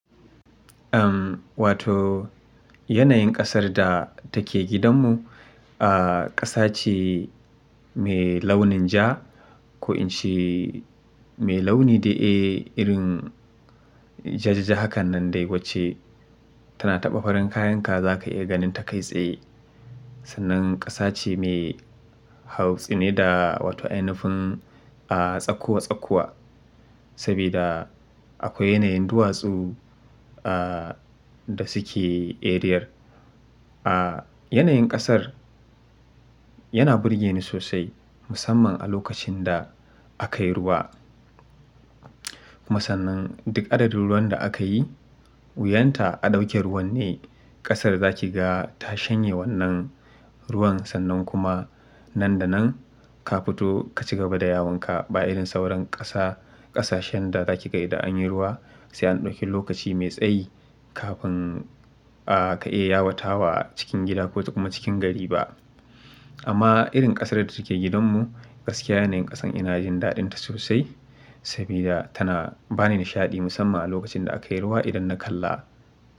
Uhm, wato yanayin ƙasar da take gidanmu, aah ƙasa ce. Me launin ja ko in ce me launi dai eh irin jajaja hakan nan dai wacce tana taɓa farin kayanka za ka iya ganin ta kai tsaye. Sannan ƙasa ce mai hautsine da wato ainifun aah tsakuwa-tsakuwa, sabida akwai yanayin duwatsu aah da suke eriyar. Aah yanayin ƙasar yana burge ni sosai musamman a lokacin da akai ruwa. Kuma sannan duk adadin ruwan da aka yi wuyan ta a ɗauke ruwan ne ƙasar da za ki ga ta shanye wannan ruwan. Sannan kuma nan da nan ka fito ka cigaba da yawanka ba irin sauran ƙasa, ƙasashen da za ki ga idan anyi ruwa sai an ɗauki lokaci mai tsayi kafin aah ka iya yawatawa cikin gida ko kuma cikin gari ba. Amma irin ƙasar da take gidanmu gaskiya yanayin ƙasan ina jin daɗinta sosai sabida tana bani nishaɗi musamman a lokacin da akai ruwa idan na kalla.